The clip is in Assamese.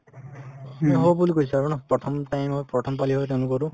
বুলি কৈছে আৰু ন প্ৰথম time ৰ প্ৰথম হয় তেওঁলোকৰো